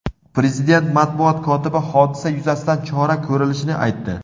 Prezident matbuot kotibi hodisa yuzasidan chora ko‘rilishini aytdi.